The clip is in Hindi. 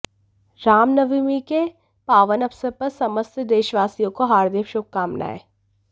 रामनवमी के पावन अवसर पर समस्त देशवासियों को हार्दिक शुभकामनाएं